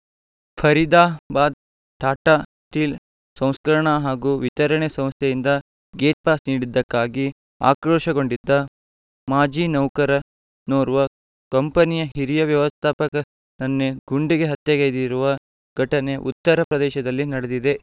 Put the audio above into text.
Faridabad Tata Steel ಸಂಸ್ಕರಣಾ ಹಾಗೂ ವಿತರಣೆ ಸಂಸ್ಥೆಯಿಂದ ಗೇಟ್‌ಪಾಸ್‌ ನೀಡಿದ್ದಕ್ಕಾಗಿ ಆಕ್ರೋಶಗೊಂಡಿದ್ದ ಮಾಜಿ ನೌಕರ ನೋರ್ವ ಕಂಪನಿಯ ಹಿರಿಯ ವ್ಯವಸ್ಥಾಪಕನನ್ನೇ ಗುಂಡಿ ಹತ್ಯೆಗೈದಿರುವ ಘಟನೆ ಉತ್ತರ ಪ್ರದೇಶದಲ್ಲಿ ನಡೆದಿದೆ